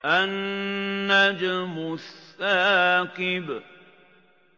النَّجْمُ الثَّاقِبُ